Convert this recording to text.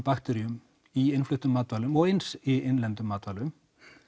bakteríum í innfluttum matvælum og eins í innlendum matvælum